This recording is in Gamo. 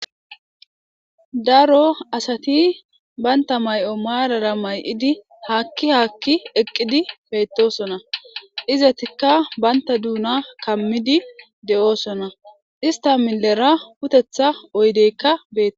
daro asati baynta may7o maalara may7idi haakki haakki eqqidi beytosona izatikka baynta duuna kammidi de7oosona ista millera putetha oydeykka beete